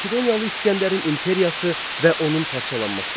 Makedoniyalı İsgəndərin imperiyası və onun parçalanması.